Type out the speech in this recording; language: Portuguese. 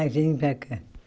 Ah, vem para cá.